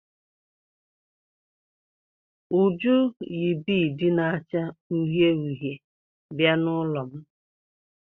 Uju yi biidi na-acha uhie uhie bịa n'ụlọ m.